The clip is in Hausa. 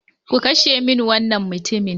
Ku kashe min wannan mutumin!